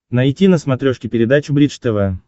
найти на смотрешке передачу бридж тв